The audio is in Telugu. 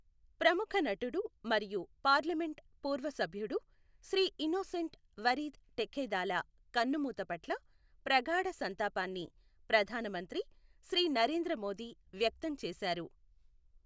ప్రముఖ నటుడు మరియు పార్లమెంట్ పూర్వ సభ్యుడు శ్రీ ఇనోసెంట్ వరీద్ ఠెక్కెథాలా కన్నుమూత పట్ల ప్రగాఢ సంతాపాన్ని ప్రధాన మంత్రి శ్రీ నరేంద్ర మోదీ వ్యక్తం చేశారు.